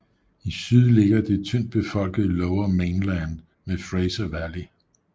I syd ligger det tyndt befolkede Lower Mainland med Fraser Valley